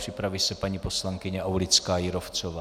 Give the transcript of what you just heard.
Připraví se paní poslankyně Aulická Jírovcová.